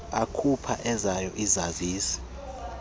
akhupha ezawo izazisi